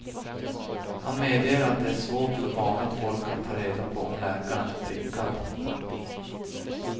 Han medger att det är svårt för vanligt folk att ta reda på om läkaren är prickad.